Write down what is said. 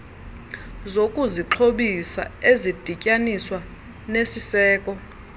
zokuzixhobisa ezidityaniswa nesiseko